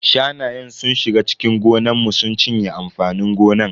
Shanayen sun shiga cikin gonan mu sun cinye amfanin gonan.